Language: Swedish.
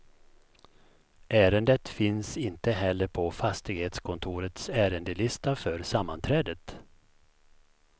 Ärendet finns inte heller på fastighetskontorets ärendelista för sammanträdet.